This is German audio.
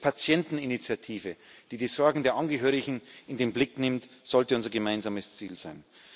Eine Krebspatienteninitiative, die die Sorgen der Angehörigen in den Blick nimmt, sollte unser gemeinsames Ziel sein.